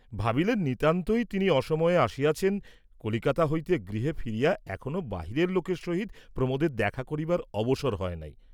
ভাবিলেন নিতান্তই তিনি অসময়ে আসিয়াছেন, কলিকাতা হইতে গৃহে ফিরিয়া এখনো বাহিরের লোকের সহিত প্রমোদের দেখা করিবার অবসর হয় নাই।